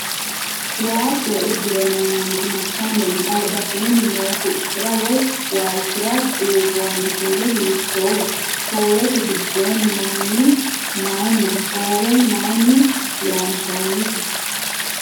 Waajjore uddire noo manchi massanni no? Albasiinni noo huxxira woy waalchira buurroonni kuuli hiittooho? Hoowete gidoonni no mini maayiinniho? Hoowe maayinni loonsoonnite?